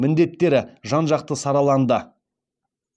міндеттері жан жақты сараланды